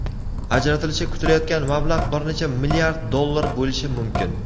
ajratilishi kutilayotgan mablag‘ bir necha milliard dollar bo‘lishi mumkin.